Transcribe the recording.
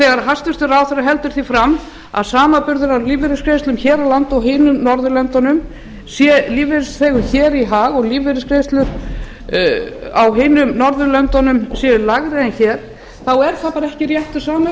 þegar hæstvirtur ráðherra heldur því fram að samanburður á lífeyrisgreiðslum hér á landi og öðrum norðurlöndum sé lífeyrisþegum hér í hag og að lífeyrisgreiðslur þar séu lægri en hér er það bara ekki réttur